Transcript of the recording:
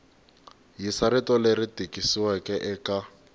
yisa rito leri tikisiweke eka